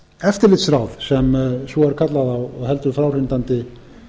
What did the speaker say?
eftirlitsráð sem svo er kallað á heldur fráhrindandi